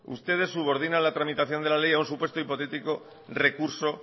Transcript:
ustedes subordinan la tramitación de la ley a un supuesto hipotético recurso